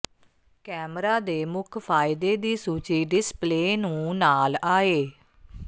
camera ਦੇ ਮੁੱਖ ਫਾਇਦੇ ਦੀ ਸੂਚੀ ਡਿਸਪਲੇਅ ਨੂੰ ਨਾਲ ਆਏ